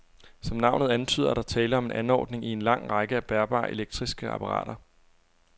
Som navnet antyder, er der tale om en anordning i en lang række af bærbare elektriske apparater.